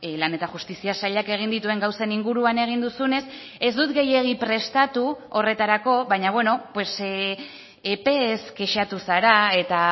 lan eta justizia sailak egin dituen gauzen inguruan egin duzunez ez dut gehiegi prestatu horretarako baina beno epeez kexatu zara eta